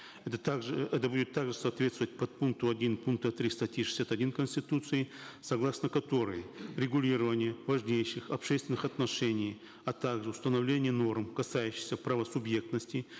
это также это будет также соответствовать подпункту один пункта три статьи шестьдесят один конституции согласно которой регулирование важнейших общественных отношений а также установление норм касающихся права субъектности